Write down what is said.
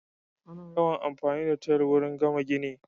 Ana yawan amfani da tayal wurin gama gini